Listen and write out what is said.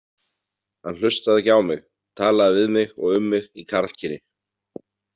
Hann hlustaði ekki á mig, talaði við mig og um mig í karlkyni.